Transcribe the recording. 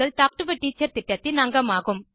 talk to a Teacher திட்டத்தின் அங்கமாகும்